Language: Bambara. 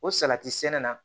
O salati sɛnɛ na